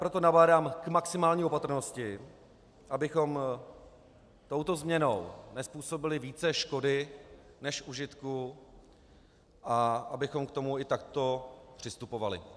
Proto nabádám k maximální opatrnosti, abychom touto změnou nezpůsobili více škody než užitku a abychom k tomu i takto přistupovali.